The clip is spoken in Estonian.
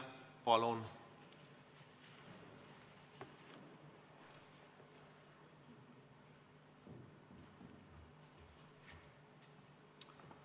Palun!